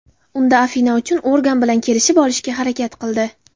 Unda Afina ushbu organ bilan kelishib olishga harakat qildi.